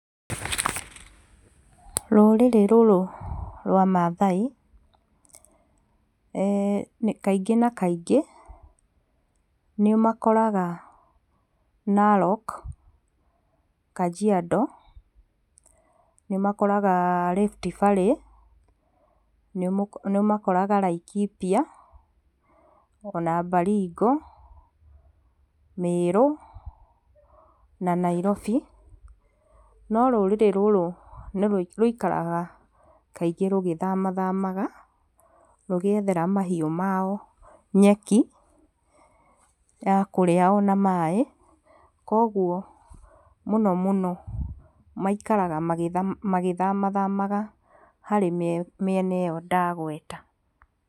Rũrĩrĩ rũrũ rwa Mathai, nĩ kaingĩ na kaingĩ, nĩ ũmakoraga Narok, Kajiado, nĩ ũmakoraga Rift Valley, nĩ ũmakoraga Laikipia, ona Baringo, Mĩrũ, na Nairobi, no rũrĩrĩ rũrũ nĩ rũ, rũikaraga kaingĩ rũgĩthamathamanaga, rũgĩethera mahiũ mao nyeki, ya kũrĩa ona maĩ, koguo mũno mũno maikaraga magĩtha magĩthamathamaga harĩ mĩena ĩyo ndagweta.